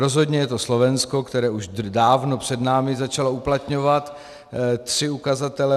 Rozhodně je to Slovensko, které už dávno před námi začalo uplatňovat tři ukazatele.